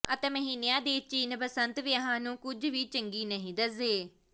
ਅਤੇ ਮਹੀਨਿਆਂ ਦੇ ਚਿੰਨ੍ਹ ਬਸੰਤ ਵਿਆਹਾਂ ਨੂੰ ਕੁਝ ਵੀ ਚੰਗੀ ਨਹੀਂ ਦੱਸਦੇ